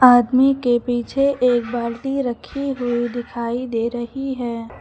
आदमी के पीछे एक बाल्टी रखी हुई दिखाई दे रही है।